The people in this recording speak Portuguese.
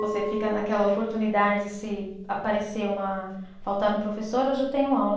Você fica naquela oportunidade se aparecer uma. Faltar um professor, eu já tenho aula.